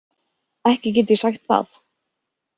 Ekki get ég sagt það.